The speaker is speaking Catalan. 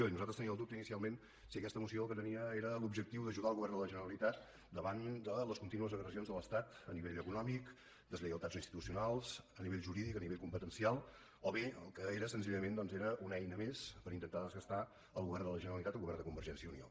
i nosaltres teníem el dubte inicialment de si aquesta moció el que tenia era l’objectiu d’ajudar el govern de la generalitat davant de les contínues agressions de l’estat a nivell econòmic deslleialtats institucionals a nivell jurídic a nivell competencial o bé el que era senzillament era una eina més per intentar desgastar el govern de la generalitat el govern de convergència i unió